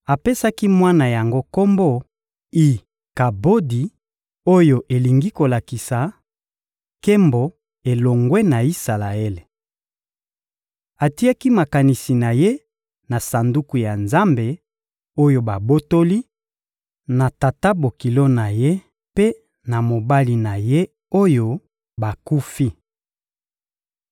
Apesaki mwana yango kombo «I-Kabodi» oyo elingi kolakisa: Nkembo elongwe na Isalaele! Atiaki makanisi na ye na Sanduku ya Nzambe, oyo babotoli, na tata-bokilo na ye mpe na mobali na ye, oyo bakufi.